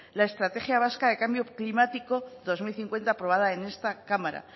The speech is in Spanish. la estrategia vasca de cambio climático dos mil cincuenta aprobada en esta cámara